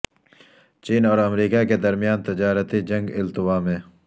چین اور امریکہ کے درمیان تجارتی جنگ التوا میں